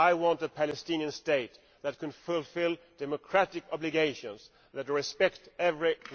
I want a Palestinian state that can fulfil democratic obligations, that respects each and everyone.